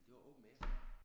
Det var open air